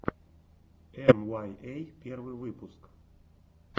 эмуаййэ первый выпуск